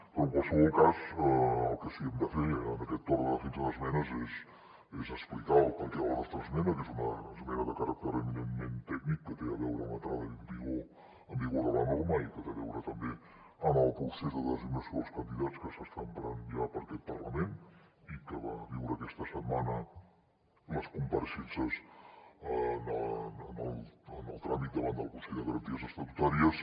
però en qualsevol cas el que sí que hem de fer en aquest torn de defensa d’esmenes és explicar el perquè de la nostra esmena que és una esmena de caràcter eminentment tècnic que té a veure amb l’entrada en vigor de la norma i que té a veure també amb el procés de designació dels candidats que s’està emprant ja per aquest parlament i que va viure aquesta setmana les compareixences en el tràmit davant del consell de garanties estatutàries